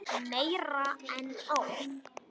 Meira en ár.